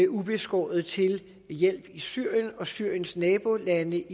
ubeskåret til hjælp i syrien og i syriens nabolande